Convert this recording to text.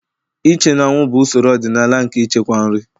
Iche n'anwụ bụ usoro ọdịnala nke ichekwa nri.